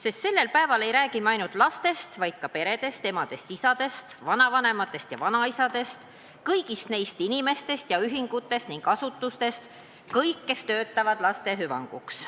Sest sellel päeval ei räägi me ainult lastest, vaid ka peredest, emadest-isadest, vanaemadest ja vanaisadest, kõigist neist inimestest ja ühingutest ning asutustest – kõigist, kes töötavad laste hüvanguks.